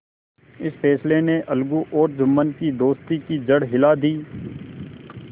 इस फैसले ने अलगू और जुम्मन की दोस्ती की जड़ हिला दी